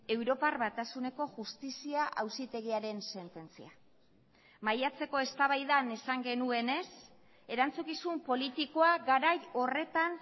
europar batasuneko justizia auzitegiaren sententzia maiatzeko eztabaidan esan genuenez erantzukizun politikoa garai horretan